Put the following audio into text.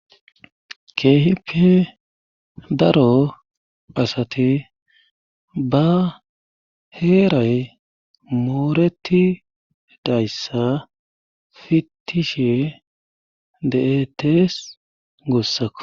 keehippe daro asati ba heeray mooreti dayssa fittishe de7etees goossakko